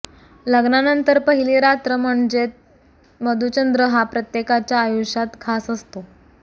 लग्नानंतर पहिली रात्र म्हणजेत मधुचंद्र हा प्रत्येकाच्या आयुष्यात खास असतो